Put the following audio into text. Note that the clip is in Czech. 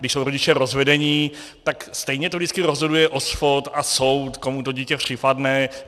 Když jsou rodiče rozvedení, tak stejně to vždycky rozhoduje OSPOD a soud, komu to dítě připadne.